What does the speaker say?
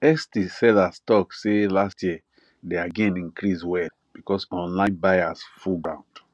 etsy sellers talk say last year their gain increase well because online buyers full ground